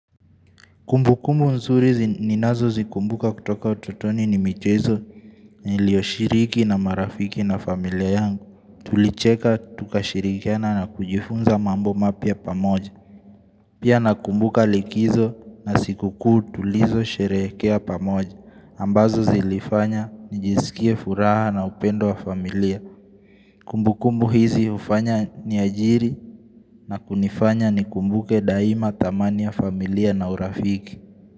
Kumbu kumbu nzuri zi ninazo zikumbuka kutoka utotoni ni michezo nilioshiriki na marafiki na familia yangu. Tulicheka tukashirikiana na kujifunza mambo mapya pamoja. Pia nakumbuka likizo na siku kuu tulizo sherehekea pamoja. Ambazo zilifanya nijiskie furaha na upendo wa familia. Kumbu kumbu hizi ufanya ni ajiri na kunifanya nikumbuke daima dhamani ya familia na urafiki.